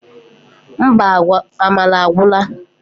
Mba, amala agwura!